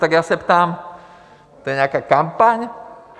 Tak já se ptám, to je nějaká kampaň?